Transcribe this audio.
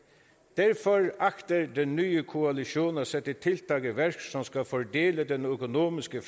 derfor agter den nye koalition at sætte tiltag i værk som skal fordele den økonomiske